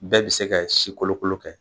Bɛɛ bi se kɛ si kolokolo kɛ